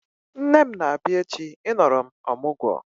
Nne m na-abia echi I nọrọ m ọmụgwọ